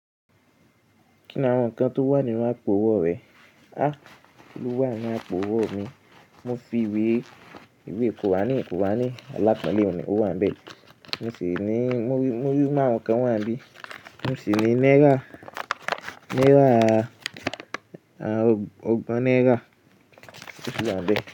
Kí ni àwọn nǹkan tó wà nínú àpò owó rẹ? À kilo wà ní àpò owó mi. Mo fi ìwé iwe qurani qurani alápọ̀ńlé ọ̀hun ni o wàǹbẹ̀. Mo sì ní muri murí maarun kan wà n bí. Mo sì ní náírà naira ogbón náírà o si wanbe.